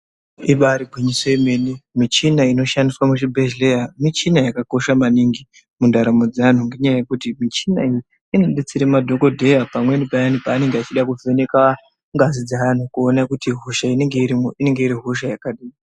Ibari gwinyiso remene michina inoshandiswa muzvibhedhlera michina yakakosha maningi mundaramo dzevantu ngenda yekuti michina inodetsera madhokoteya pamweni paya achida kuvheneka ngazi dzevanhu vachida kuona kuti hosha inenge irimo inenge iri hosha yakadii.